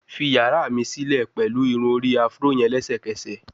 Fi yara mi silẹ pẹlu irun-ori Afro yẹn lẹsẹkẹsẹ